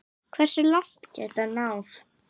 Hversu langt gæti hann náð?